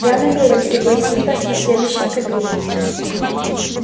я намерен пригласить вас на следующий кадриль